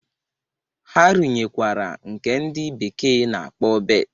Ha runyekwara nke ndị bekee na-akpọ berth.